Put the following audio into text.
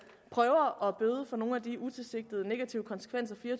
prøver at bøde på nogle af de utilsigtede negative konsekvenser fire og